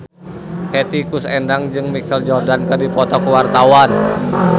Hetty Koes Endang jeung Michael Jordan keur dipoto ku wartawan